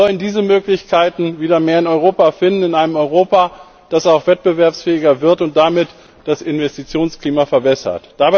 Sie sollen diese Möglichkeiten wieder mehr in Europa finden, in einem Europa, das auch wettbewerbsfähiger wird und damit das Investitionsklima verbessert.